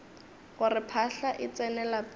gore phahla e tsene lapeng